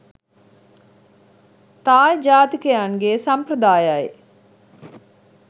තායි ජාතිකයන්ගේ සම්ප්‍රදායයි.